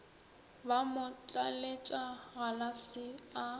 ba mo tlaletša galase a